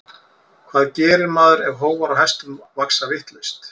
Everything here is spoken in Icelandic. Hvað gerir maður ef hófar á hestum vaxa vitlaust?